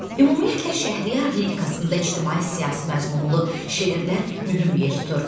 Ümumiyyətlə, Şəhriyar lirikasında ictimai-siyasi məzmunlu şeirlər mühüm yer tutur.